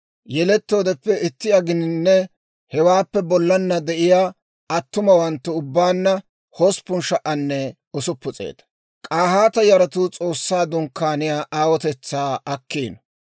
Yelettoodeppe itti aginanne hewaappe bollana de'iyaa attumawanttu ubbaanna 8,600. K'ahaata yaratuu S'oossaa Dunkkaaniyaa aawotetsaa akkiino.